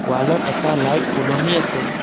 ৱালত এটা লাইট ওলমি আছে।